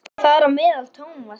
Þar á meðal Thomas.